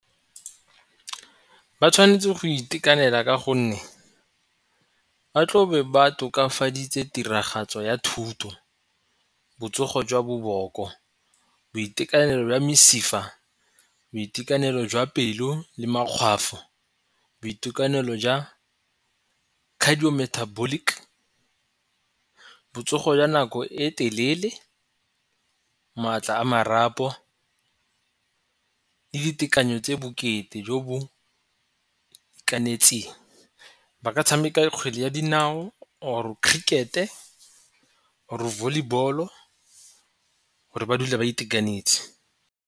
Ba tshwanetse go itekanela ka gonne ba tlabe ba tokafaditse tiragatso ya thuto, botsogo jwa boboko, boitekanelo jwa mesifa, boitekanelo jwa pelo le makgwafo, boitekanelo jwa cardio metabolic, botsogo jwa nako e telele, maatla a marapo, le ditekanyo tse bokete jo bo itekanetseng. Ba ka tshameka kgwele ya dinao or cricket-e or volleyball-o gore ba dule a itekanetse.